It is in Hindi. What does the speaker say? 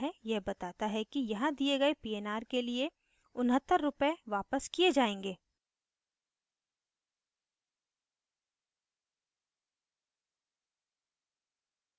यह बताता है कि यहाँ दिए गए pnr के लिए 69 रुपए वापस किये जायेंगे